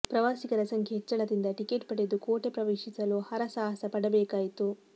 ಪ್ರವಾಸಿಗರ ಸಂಖ್ಯೆ ಹೆಚ್ಚಳದಿಂದ ಟಿಕೆಟ್ ಪಡೆದು ಕೋಟೆ ಪ್ರವೇಶಿಸಲು ಹರಸಹಾಸ ಪಡಬೇಕಾಯಿತು